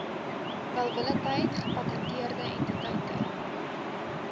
welwillendheid gepatenteerde entiteite